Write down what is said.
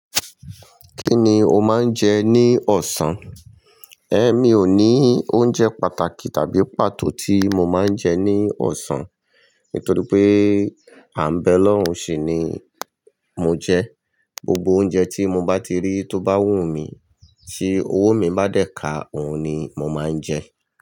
Kí ni o máa ń jẹ ní ọ̀sán? É mi ò ní oúnjẹ pàtàkì tàbí pàtó tí mo máa ń jẹ ní ọ̀sán, nítorí pé à ń bẹ lọ́hùn ṣì ni mo jẹ. Gbogbo oúnjẹ tí mo bá ti rí tó bá wù mí, tí owó mi bá dẹ̀ ka òun ni mo máa ń jẹ.